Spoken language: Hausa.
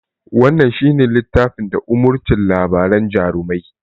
Wannan shi ne littafin da umurcin labaran jarumai